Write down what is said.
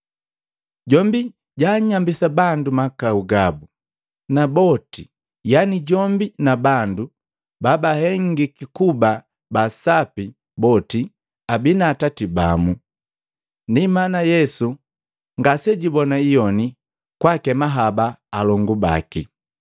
Jombi jaanyambisa bandu mahakau gabu, na boti, yani jombi na bandu babahengiki kuba ba sapi boti abii na atati bamu. Ndi mana Yesu ngasejubona iyoni kwaakema haba alongu baki;